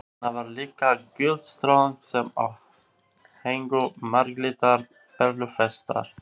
Þarna var líka gyllt stöng sem á héngu marglitar perlufestar.